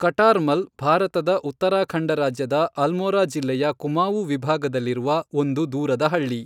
Qatar ಮಲ್ ಭಾರತದ ಉತ್ತರಾಖಂಡ ರಾಜ್ಯದ ಅಲ್ಮೋರಾ ಜಿಲ್ಲೆಯ ಕುಮಾವು ವಿಭಾಗದಲ್ಲಿರುವ ಒಂದು ದೂರದ ಹಳ್ಳಿ.